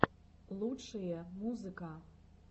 лучшие музыка